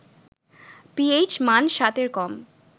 pH মান ৭ এর কম